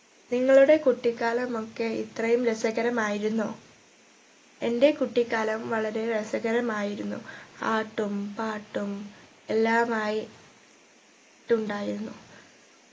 നിങ്ങളുടെ കുട്ടിക്കാലമൊക്കെ ഇത്രേം രസകരമായിരുന്നോ? എന്റെ കുട്ടിക്കാലം വളരെ രസകരമായിരുന്നു ആട്ടും പാട്ടും എല്ലാമായി ട്ടുണ്ടായിരുന്നു